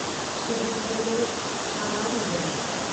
शहर फहिलियो आबादी वधी।